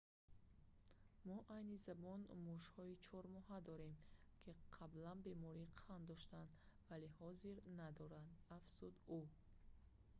мо айни замон мушҳои 4 моҳа дорем ки қаблан бемории қанд доштанд вале ҳозир надоранд афзуд ӯ